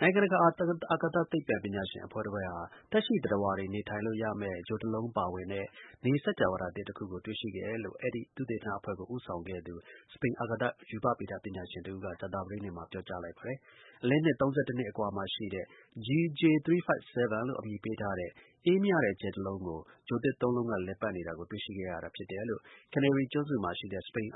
နိုင်ငံတကာ အာကာသ သိပ္ပံပညာရှင်အဖွဲ့တဖွဲ့ဟာ သက်ရှိသတ္တဝါတွေ နေထိုင်လို့ရမယ့် ဂြိုလ်တလုံးပါဝင်တဲ့ နေစကြဝဠာ သစ်တခုကို တွေ့ရှိခဲ့တယ်လို့ အဲဒီ သုတေသနအဖွဲ့ကို ဦးဆောင်ခဲ့သူ စပိန် အာကာသ ရူပဗေဒ ပညာရှင်တဦးက ကြာသပတေးနေ့မှာပြောပါတယ်။ အလင်းနှစ် ၃၁ နှစ်အကွာမှာရှိတဲ့ GJ 357d လို့ အမည်ပေးထားတဲ့ အေးမြတဲ့ကြယ်တလုံးကို ဂြိုလ်သစ် ၁ လုံးက လည်ပတ်နေတာကို တွေ့ရှိခဲ့ရတာ ဖြစ်တယ်လို့ Canary ကျွန်းစုမှာ